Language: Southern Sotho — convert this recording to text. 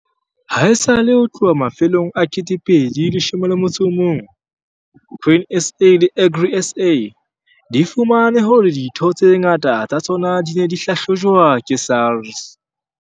Haesale ho tloha mafelong a 2011 Grain SA le Agri SA di fumane hore ditho tse ngata tsa tsona di ne di hlahlojwa ke SARS.